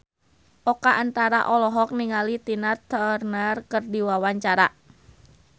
Oka Antara olohok ningali Tina Turner keur diwawancara